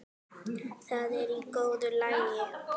Það er í góðu lagi,